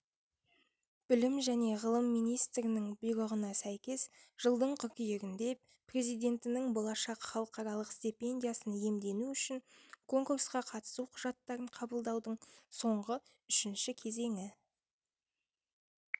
білім және ғылым министірінің бұйрығына сәйкес жылдың қыркүйегінде президентінің болашақ халықаралық стипендиясын иемдену үшін конкурсқа қатысу құжаттарын қабылдаудың соңғы үшінші кезеңі